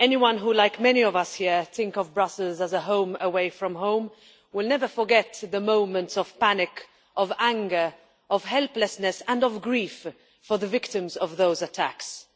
Anyone who, like many of us here, thinks of Brussels as a home from home, will never forget the moments of panic, of anger, of helplessness and of grief for the victims of those attacks.